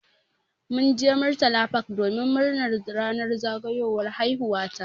Mun je murtala park domin murnar ranar zagayowar haihuwa ta.